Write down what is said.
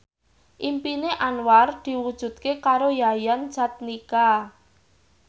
impine Anwar diwujudke karo Yayan Jatnika